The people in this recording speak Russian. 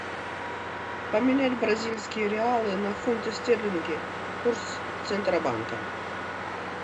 поменять бразильские реалы на фунты стерлинги курс центробанка